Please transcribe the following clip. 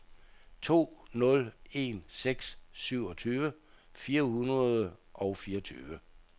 to nul en seks syvogtyve fire hundrede og fireogtyve